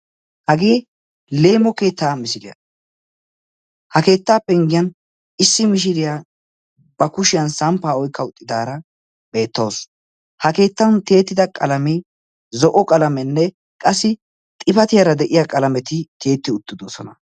Hagee Leemo keettaa misilliyaa. Ha keettaa penggiyan issi mishiriya ba kushiyan samppaa oyqqa uttidaara beettawusu. Ha keettan tiyettida qalamee zo''o qalamenne qassi xifatiyaara de'iyaa qalameti tiyetti uttidosona.